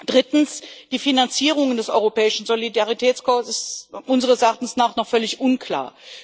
Drittens ist die Finanzierung des Europäischen Solidaritätskorps unseres Erachtens noch völlig unklar.